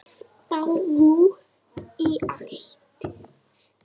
Spáðu í álagið.